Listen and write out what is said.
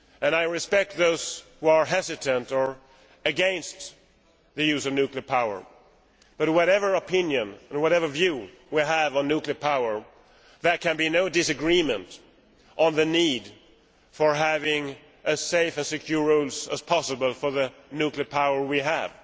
I respect those who are hesitant about or are against the use of nuclear power, but whatever opinion and whatever view we have on nuclear power, there can be no disagreement on the need for the rules to be as safe and secure as possible for the nuclear power we have.